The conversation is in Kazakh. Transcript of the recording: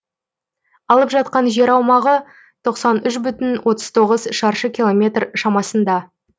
алып жатқан жер аумағы тоқсан үш бүтін отыз тоғыз шаршы километр шамасында